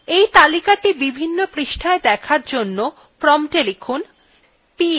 এই তালিকাthe বিভিন্ন পৃষ্ঠায় দেখার জন্য prompta লিখুন